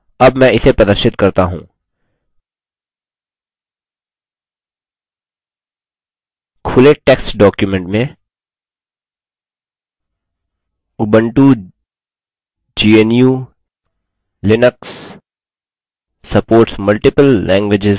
खुले text document में ubuntu gnu/linux supports multiple languages with libreoffice type करें